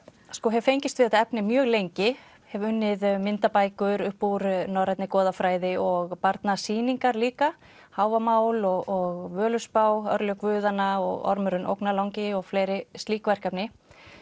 hef fengist við þetta efni mjög lengi hef unnið myndabækur upp úr norrænni goðafræði og barnasýningar líka Hávamál og Völuspá örlög guðanna og ormurinn ógnarlangi og fleiri slík verkefni